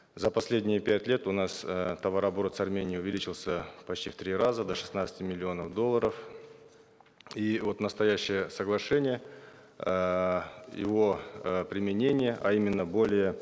за последние пять лет у нас э товарооборот с арменией увеличился почти в три раза до шестнадцати миллионов долларов и вот настоящее соглашение эээ его э применение а именно более